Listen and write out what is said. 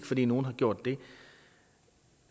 fordi nogle har gjort det